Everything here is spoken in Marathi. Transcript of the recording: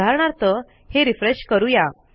उदाहरणार्थ हे रिफ्रेश करू या